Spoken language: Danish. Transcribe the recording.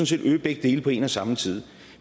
set øge begge dele på en og samme tid